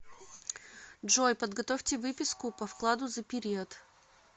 джой подготовьте выписку по вкладу за период